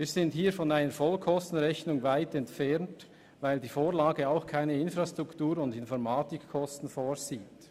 Wir sind hier weit entfernt von einer Vollkostenrechnung, weil die Vorlage auch keine Infrastruktur- und Informatikkosten berücksichtigt.